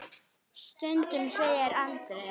Stundum segir Andrea.